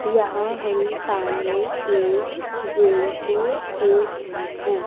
यहां हम सामने एक जिम को देख रहे हैं।